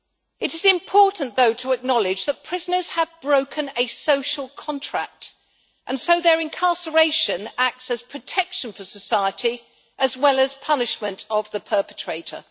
It is important, though, to acknowledge that prisoners have broken a social contract and so their incarceration acts as protection for society, as well as punishment of the perpetrator.